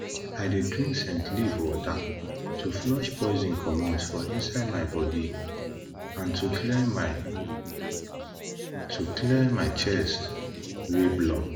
i dey drink scent leaf water to flush poison comot for inside my body and to clear my to clear my chest wey block